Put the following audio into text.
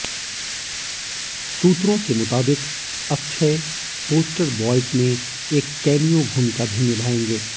सूत्रों के मुताबिक अक्षय पोस्टर बॉयज में एक कैमिया भूमिका भी निभाएँगे